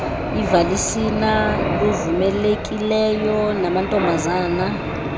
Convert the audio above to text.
ivasilina luvumelekileyo amantobazana